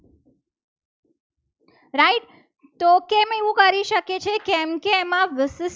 કેમ એવું કરી શકે છે. કેમ કે કેમ એમાં વિશિષ્ટ